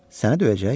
Səni döyəcək?